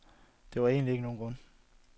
Der var egentlig ikke nogen grund.